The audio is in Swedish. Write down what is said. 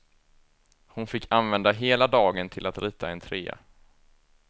Hon fick använda hela dagen till att rita en trea.